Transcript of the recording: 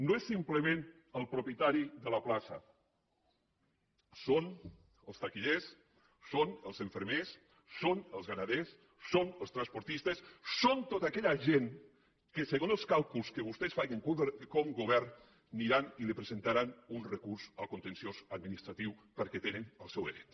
no és simplement el propietari de la plaça són els taquillers són els infermers són els ramaders són els transportistes són tota aquella gent que segons els càlculs que vostès facin com a govern aniran i li presentaran un recurs al contenciós administratiu perquè hi tenen el seu dret